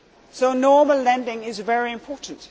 So normal lending is very important.